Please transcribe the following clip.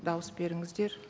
дауыс беріңіздер